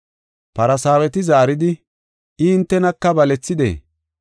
Farsaaweti zaaridi, “I hintenaka balethidee?